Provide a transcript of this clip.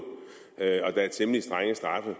der er temmelig strenge straffe